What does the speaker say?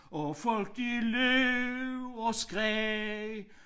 Og folk de løb og skreg